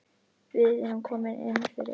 Við erum komin inn fyrir